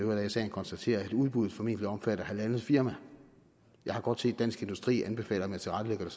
er i sagen konstatere at udbuddet formentlig omfatter halvandet firma jeg har godt set at dansk industri anbefaler at man tilrettelægger